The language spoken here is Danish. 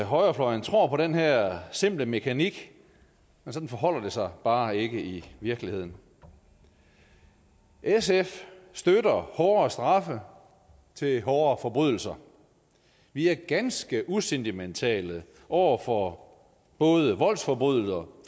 højrefløjen tror på den her simple mekanik men sådan forholder det sig bare ikke i virkeligheden sf støtter hårdere straffe for hårde forbrydelser vi er ganske usentimentale over for både voldsforbrydere